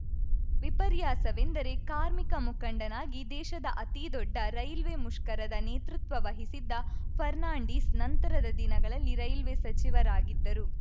ವಿಪರ್ಯಾಸವೆಂದರೆ ಕಾರ್ಮಿಕ ಮುಖಂಡನಾಗಿ ದೇಶದ ಅತಿದೊಡ್ಡ ರೈಲ್ವೆ ಮುಷ್ಕರದ ನೇತೃತ್ವ ವಹಿಸಿದ್ದ ಫರ್ನಾಂಡಿಸ್‌ ನಂತರದ ದಿನಗಳಲ್ಲಿ ರೈಲ್ವೆ ಸಚಿವರಾಗಿದ್ದರು